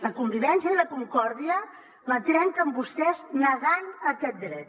la convivència i la concòrdia la trenquen vostès negant aquest dret